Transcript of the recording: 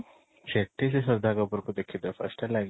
ସେଠି ସେ ଶ୍ରଦ୍ଧା କପୂର କୁ ଦେଖି ଥିବ first ହେଲା କି